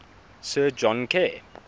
sir john kerr